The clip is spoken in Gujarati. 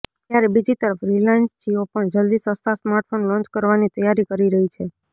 જ્યારે બીજી તરફ રિલાયન્સ જિયો પણ જલદી સસ્તા સ્માર્ટફોન લોન્ચ કરવાની તૈયારી કરી રહી છે